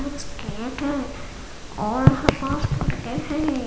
यहाँ पास गेट है और यहाँ पास हैं ।